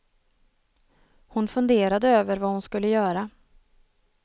Hon funderade över vad hon skulle göra.